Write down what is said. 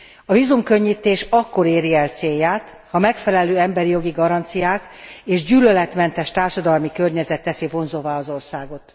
A vízumkönnyítés akkor éri el célját, ha megfelelő emberi jogi garanciák és gyűlöletmentes társadalmi környezet teszi vonzóvá az országot.